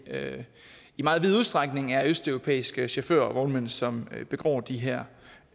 i meget vid udstrækning er østeuropæiske chauffører og vognmænd som begår de her